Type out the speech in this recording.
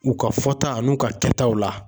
U ka fɔta a n'u ka kɛtaw la